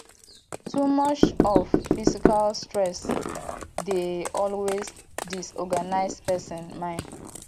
too much of physical stress dey always disorganise persin mind